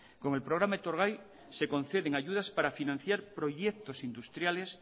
con el programa etorgai se conceden ayudas para financiar proyectos industriales